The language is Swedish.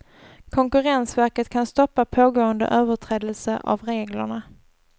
Konkurrensverket kan stoppa pågående överträdelser av reglerna.